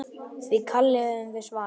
Því kalli höfum við svarað.